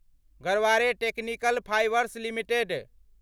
Garware technical fibres limited